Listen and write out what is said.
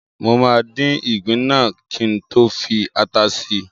Mo máa dín ìgbín náà kí n tó fi ata si